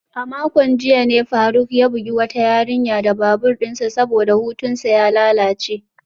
A makon jiya ne faruk ya bugi wata yarinya da babur dinsa saboda hutunsa ya lalace.